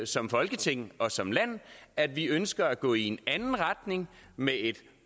som folketing og som land at vi ønsker at gå i en anden retning med et